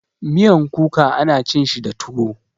Miyan kuka ana cin shi da tuwo.